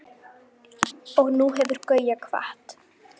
Og nú hefur Gauja kvatt.